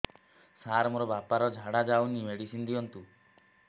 ସାର ମୋର ବାପା ର ଝାଡା ଯାଉନି ମେଡିସିନ ଦିଅନ୍ତୁ